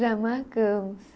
Já marcamos.